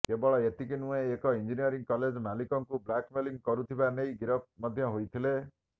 କେବଳ ଏତିକି ନୁହେଁ ଏକ ଇଂଜିନିୟରିଂ କଲେଜ ମାଲିକଙ୍କୁ ବ୍ଲାକମେଲିଂ କରୁଥିବା ନେଇ ଗିରଫ ମଧ୍ୟ ହୋଇଥିଲେ